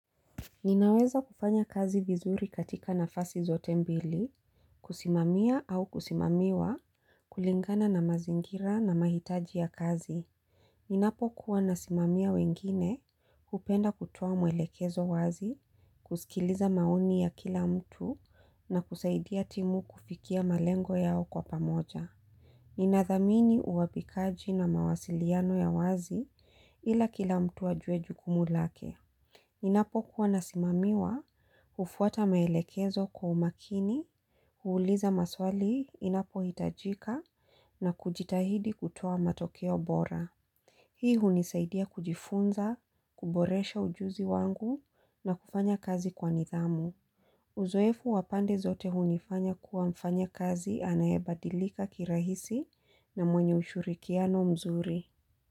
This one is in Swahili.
Ninaweza kufanya kazi vizuri katika nafasi zote mbili, kusimamia au kusimamiwa, kulingana na mazingira na mahitaji ya kazi. Ninapokua nasimamia wengine, hupenda kutoa mwelekezo wazi, kusikiliza maoni ya kila mtu na kusaidia timu kufikia malengo yao kwa pamoja. Ninathamini uwapikaji na mawasiliano ya wazi ila kila mtu ajue jukumu lake. Inapokua nasimamiwa, hufuata maelekezo kwa umakini, huuliza maswali inapohitajika na kujitahidi kutoa matokeo bora. Hii hunisaidia kujifunza, kuboresha ujuzi wangu na kufanya kazi kwa nidhamu. Uzoefu wapande zote hunifanya kuwa mfanyakazi anayebadilika kirahisi na mwenye ushirikiano mzuri.